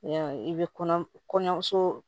Ya i bɛ kɔɲɔmu kɔɲɔmuso